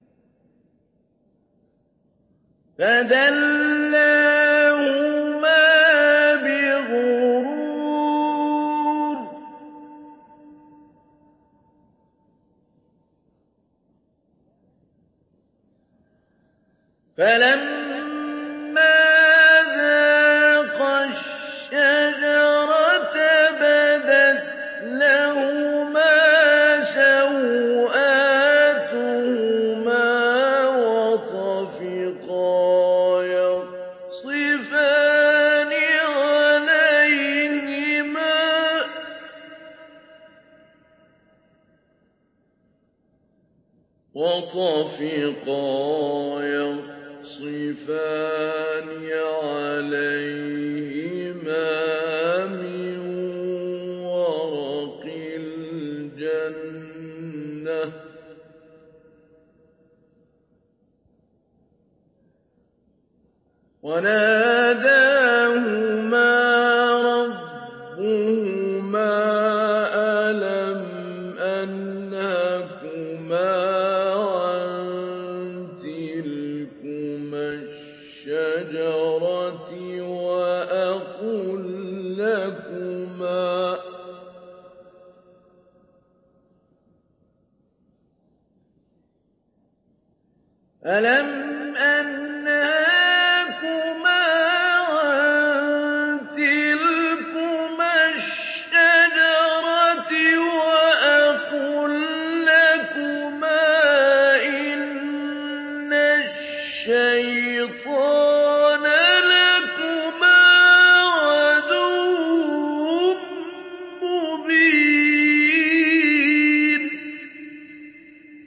فَدَلَّاهُمَا بِغُرُورٍ ۚ فَلَمَّا ذَاقَا الشَّجَرَةَ بَدَتْ لَهُمَا سَوْآتُهُمَا وَطَفِقَا يَخْصِفَانِ عَلَيْهِمَا مِن وَرَقِ الْجَنَّةِ ۖ وَنَادَاهُمَا رَبُّهُمَا أَلَمْ أَنْهَكُمَا عَن تِلْكُمَا الشَّجَرَةِ وَأَقُل لَّكُمَا إِنَّ الشَّيْطَانَ لَكُمَا عَدُوٌّ مُّبِينٌ